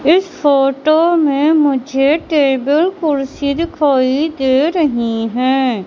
इस फोटो में मुझे टेबल कुर्सी दिखाई दे रहीं हैं।